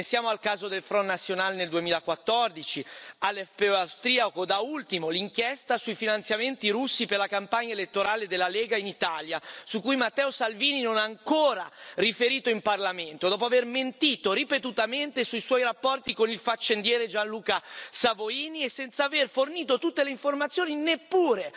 Pensiamo al caso del Front National nel 2014, all'FPO austriaco e, da ultimo, all'inchiesta sui finanziamenti russi per la campagna elettorale della Lega in Italia, su cui Matteo Salvini non ha ancora riferito in Parlamento, dopo aver mentito ripetutamente sui suoi rapporti con il faccendiere Gianluca Savoini e senza aver fornito tutte le informazioni neppure